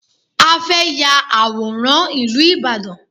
A fẹ́ ya àwòrán ìlú Ìbàdàn